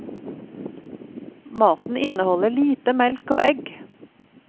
Maten inneholder lite melk og egg.